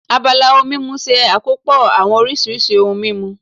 Abala ohun mímu ṣe àkópọ̀ àwọn oríṣiríṣi ohun mímu